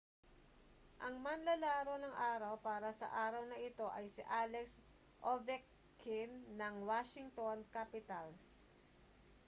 ang manlalaro ng araw para sa araw na ito ay si alex ovechkin ng washington capitals